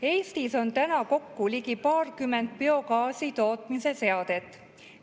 Eestis on täna kokku ligi paarkümmend biogaasi tootmise seadet.